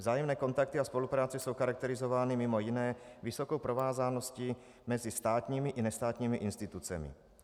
Vzájemné kontakty a spolupráce jsou charakterizovány mimo jiné vysokou provázaností mezi státními i nestátními institucemi.